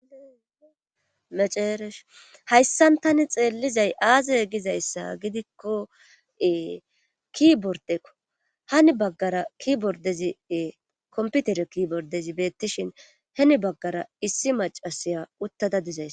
Meceeresh hayssan tani xeellizay aaze giza issa gidikko kibordekko. Hinni baggara kibordezi komputeriye kibordezi beettishin hinni baggara issi macasiya uttada diza besses.